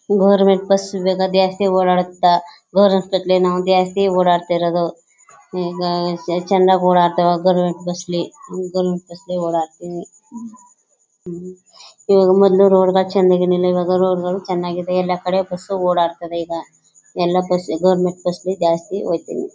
Government bus ಜಾಸ್ತಿ ಓಡಾಡುತಾ . Government hospital ಜಾಸ್ತಿ ಓಡಾಡ್ತಾ ಇರೋದು. ಈಗ ಚನ್ನಾಗ್ ಓಡಾಡ್ತಿವಿ ಗವರ್ನಮೆಂಟ್ ಬಸ್ ಅಲ್ಲಿ ಗವರ್ನಮೆಂಟ್ ಬಸ್ ಅಲ್ಲಿ ಓಡಾಡ್ತಿವಿ ಇವಾಗ ಮೊದ್ಲು ರೋಡ್ ಚಂದಿರಲಿಲ ಇವಾಗ ರೋಡ್ ಗಳು ಚನ್ನಾಗಿದೆ ಎಲ್ಲ ಕಡೆ. ಬಸ್ ಓಡಾಡ್ತವೆ . ಈಗ ಎಲ್ಲ ಬಸ್ ಗವರ್ನಮೆಂಟ್ ಬಸ್ ಜಾಸ್ತಿ ಹೋಯ್ತಿವಿ.